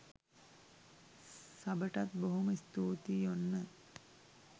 සබටත් බොහොම ස්තූතියි ඔන්න